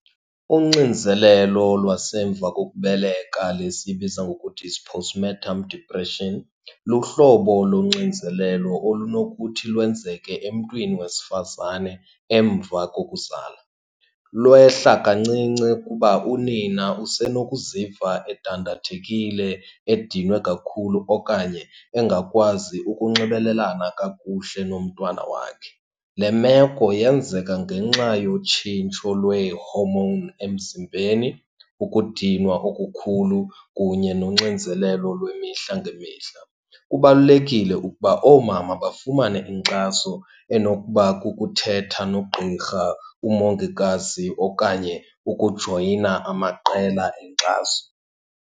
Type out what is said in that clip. Uxinzelelo lwasemva kokubeleka le siyibiza ngokuthi it's postpartum depression luhlobo lonxinzelelo olunokuthi lwenzeke emntwini wesifazane emva kokuzala. Lwehla kancinci kuba unina usenokuziva edandathekile, edinwe kakhulu, okanye engakwazi ukunxibelelana kakuhle nomntwana wakhe. Le meko yenzeka ngenxa yotshintsho lwee-hormone emzimbeni, ukudinwa okukhulu, kunye noxinzelelo lwemihla ngemihla. Kubalulekile ukuba oomama bafumane inkxaso enokuba kukuthetha nogqirha, umongikazi, okanye ukujoyina amaqela enkxaso.